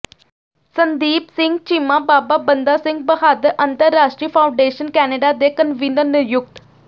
ਸੰਦੀਪ ਸਿੰਘ ਚੀਮਾ ਬਾਬਾ ਬੰਦਾ ਸਿੰਘ ਬਹਾਦਰ ਅੰਤਰਰਾਸ਼ਟਰੀ foundation Canada ਦੇ convener ਨਿਯੁਕਤ